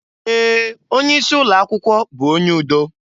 Ee! Onye isi ụlọ akwụkwọ bụ onye udo.